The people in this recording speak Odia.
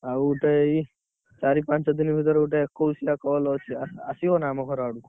ଆଉ ଏଇ ଚାରି ପାଞ୍ଚ ଭିତରେ ଗୋଟେ ଏକୋଇସିଆ call ଅଛି ଆସି~ଆସିବ ନାଁ ଆମ ଘର ଆଡକୁ।